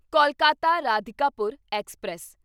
Kolkata Radhikapur express